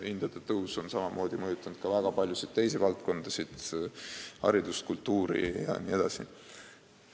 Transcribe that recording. Hindade tõus on samamoodi mõjutanud ka väga paljusid teisi valdkondasid: haridust, kultuuri jne.